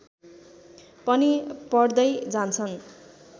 पनि पढ्दै जान्छन्